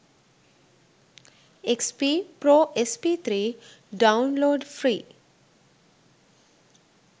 xp pro sp3 download free